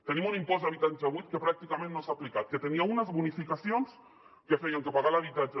tenim un impost d’habitatge buit que pràcticament no s’ha aplicat que tenia unes bonificacions que feien que pagar l’habitatge